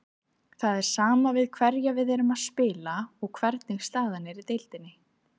Það er sama við hverja við erum að spila og hvernig staðan er í deildinni.